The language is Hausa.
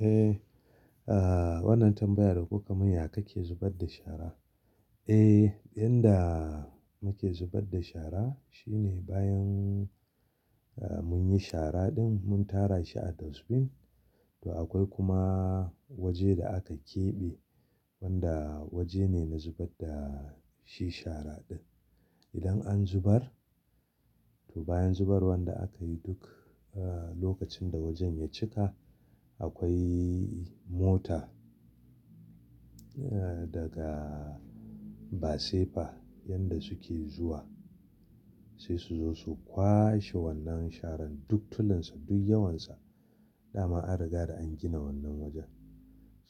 Eh, wannan tambaya da koka mun ya kake zubar da shara? Eh, inda muke zubar da shara shine bayan mun yi shara ɗin mun tara shi a dustbin to akwai kuma waje da aka keɓe wanda waje ne na zubar da shi shara ɗin. Idan an zubar to bayan zuban da aka yi duk lokacin da wajen ya cika akwai mota daga basefa wanda suke zuwa sai su zo su kwashe wannan sharan duk tulunsa duk yawansa. Da ma an riga da an gina wannan wajen.